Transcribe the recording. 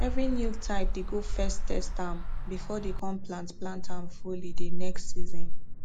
every new type dey go first test ahm before dey com plant plant ahm fully de next season